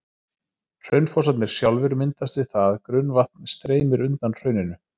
Hraunfossarnir sjálfir myndast við það að grunnvatn streymir undan hrauninu.